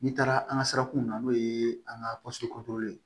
N'i taara an ka sirakunw na n'o ye an ka ye